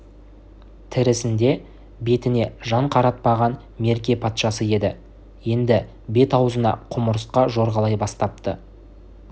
тірісінде бетіне жан қаратпаған мерке патшасы еді енді бет-аузына құмырсқа жорғалай бастапты